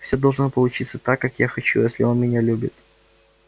все должно получиться так как я хочу если он меня любит